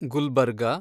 Gulbarga